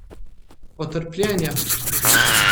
Potrpljenja!